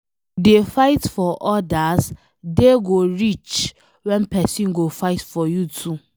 If you dey fight for odas, day go reach when pesin go fight for you too